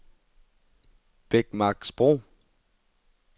Bækmarksbro